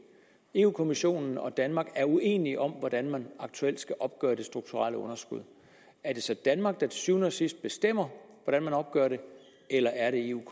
europa kommissionen og danmark er uenige om hvordan man aktuelt skal opgøre det strukturelle underskud er det så danmark der til syvende og sidst bestemmer hvordan man opgør det eller er det europa